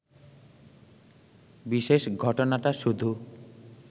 বিশেষ ঘটনাটা শুধু